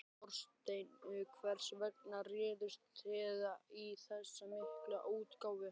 Þorsteinn, hvers vegna réðust þið í þessa miklu útgáfu?